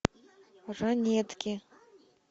ранетки